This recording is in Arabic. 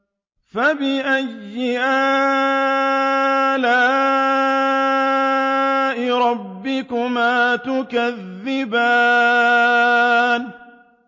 فَبِأَيِّ آلَاءِ رَبِّكُمَا تُكَذِّبَانِ